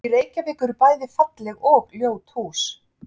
Í Reykjavík eru bæði falleg og ljót hús.